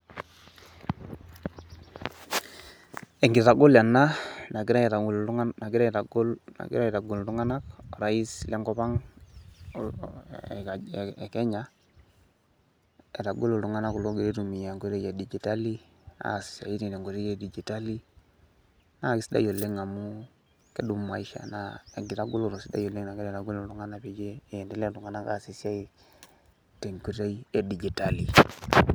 Enkitagolo ena naigirai aitagol iltung'anak nagira aitagol, nagira aitagol iltung'anak orais lenkop ang' e Kenya, aitagol iltung'anak kulo ogira oitumia enkoitoi e dijitali aas isiaitin tenkoitoi e dijitali. Naake sidai oleng' amu kedumu maisha naa enkitagoloto sidai nagira aitagol iltung'anak peyie iendelea iltung'anak aas esiai tenkoitoi e dijitali.